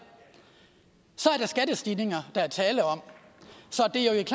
er skattestigninger så